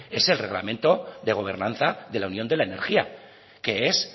es el reglamento de gobernanza de la unión de la energía que es